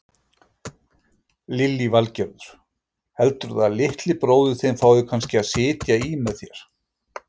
Lillý Valgerður: Heldurðu að litli bróðir þinn fái kannski að sitja í með þér?